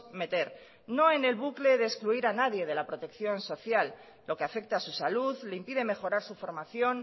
meter no en el bucle de excluir a nadie de la protección social lo que afecta a su salud le impide mejorar su formación